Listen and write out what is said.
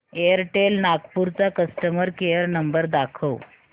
Airtel Nagpur चा customer care number दाखव